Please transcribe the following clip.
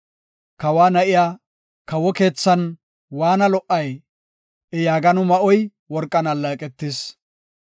Kawa na7iya, kawo keethan waanna lo77ay! I yaagano ma7oy worqan alleeqetis.